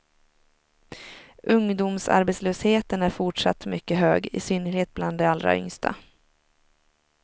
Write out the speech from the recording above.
Ungdomsarbetslösheten är fortsatt mycket hög, i synnerhet bland de allra yngsta.